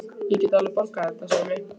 Ég get alveg borgað þetta, Sæmi.